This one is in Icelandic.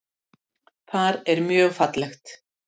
Þar er mjög fallegt.